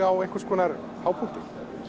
á einhvers konar hápunkti